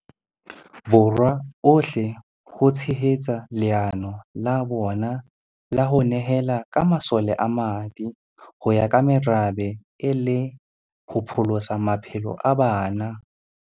Borwa ohle ho tshehetsa leano la bona la ho ne hela ka masole a madi ho ya ka merabe e le ho pholosa maphelo a bana.